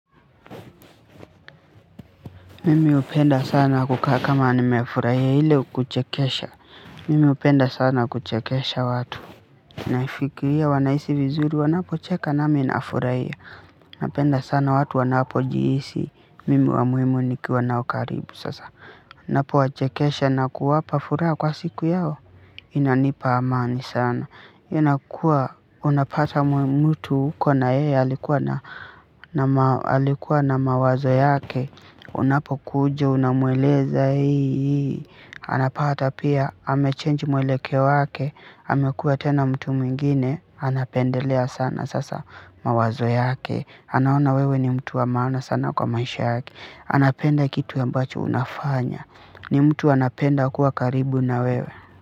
Mimi hupenda sana kukaa kama nimefurahia ile kuchekesha, mimi hupenda sana kuchekesha watu, naifikiria wanahisi vizuri wanapo cheka nami nafurahia, napenda sana watu wanapojihisi, mimi wa muhimu nikiwa nao karibu sasa. Ninapo wa chekesha na kuwapa furaha kwa siku yao inanipa amani sana inakuwa, unapata mtu uko na yeye alikuwa na alikuwa na mawazo yake. Unapo kuja unamweleza hii hii anapata pia amechange mwelekeo wake amekua tena mtu mwingine. Anapendelea sana sasa mawazo yake. Anaona wewe ni mtu wa maana sana kwa maisha yake anapenda kitu ambacho unafanya ni mtu anapenda kuwa karibu na wewe.